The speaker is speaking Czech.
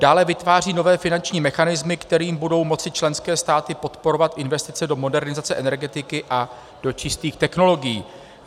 Dále, vytváří nové finanční mechanismy, kterými budou moci členské státy podporovat investice do modernizace energetiky a do čistých technologií.